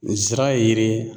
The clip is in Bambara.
N zira ye yiri ye